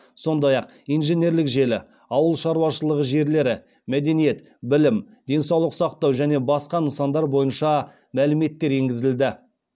сондай ақ инженерлік желі ауыл шаруашылығы жерлері мәдениет білім денсаулық сақтау және басқа нысандар бойынша мәліметтер енгізілді